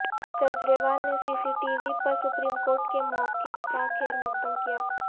کجریوال نے C C T V پر supreme court کے موقف کاخیر مقدم کیا